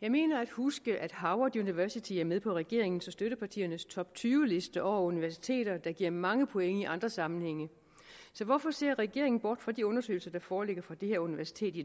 jeg mener at huske at harvard university er med på regeringens og støttepartiernes toptyveliste over universiteter der giver mange point i andre sammenhænge så hvorfor ser regeringen bort fra de undersøgelser der foreligger fra dette universitet i